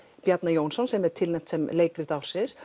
Bjarna Jónsson sem er tilnefnt sem leikrit ársins